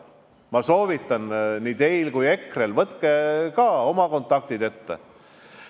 Ma soovitan nii teile kui EKRE-le, kasutage ka oma kontakte!